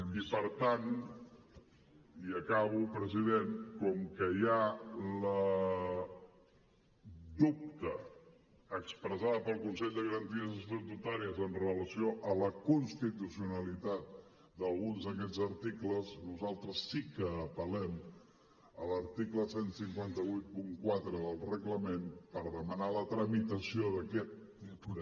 i per tant i acabo president com que hi ha el dubte expressat pel consell de garanties estatutàries amb relació a la constitucionalitat d’alguns d’aquests articles nosaltres sí que apel·lem a l’article quinze vuitanta quatre del reglament per demanar la tramitació d’aquest